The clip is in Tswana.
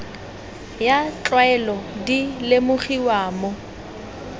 ya tlwaelo di lemogiwa mo